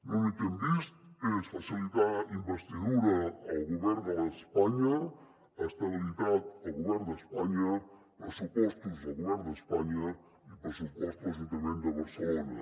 l’únic que hem vist és facilitar la investidura al govern d’espanya estabilitat al govern d’espanya pressupostos al govern d’espanya i pressupost a l’ajuntament de barcelona